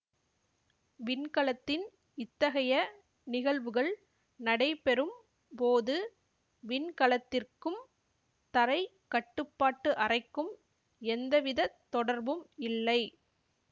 விண்கலத்தின் இத்தகைய நிகழ்வுகள் நடைபெறும் போது விண்கலத்திற்கும் தரை கட்டுப்பாட்டு அறைக்கும் எந்தவிதத் தொடர்பும் இல்லை